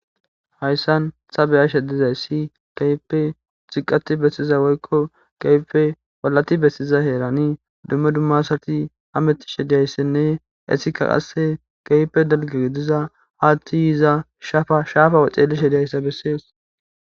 Hayssan ta be7ashe dizayssi keehippe ziqqatti bessizawoykko keehippe ollati bessiza heerani dumma duma asati hameytishe de7iyayssanne hayssi qasse keehippe dalgidi de7iza haathe shaafa xeellishe de7izayssa besses.